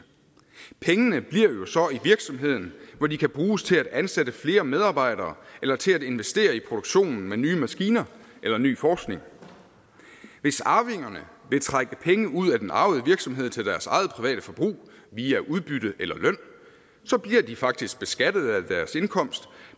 pengene bliver jo så i virksomheden hvor de kan bruges til at ansætte flere medarbejdere eller til at investere i produktionen med nye maskiner eller ny forskning hvis arvingerne vil trække penge ud af den arvede virksomhed til deres eget private forbrug via udbytte eller løn bliver de faktisk beskattede af deres indkomst